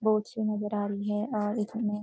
boat show नजर आ रही है और इसमें --